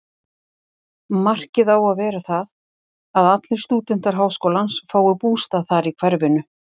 Markið á að vera það, að allir stúdentar háskólans fái bústað þar í hverfinu.